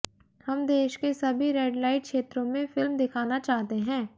हम देश के सभी रेड लाइट क्षेत्रों में फिल्म दिखाना चाहते हैं